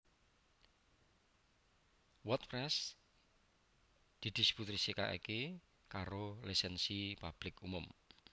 WordPress didistribusikake karo Lisensi Publik Umum